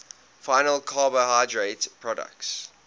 final carbohydrate products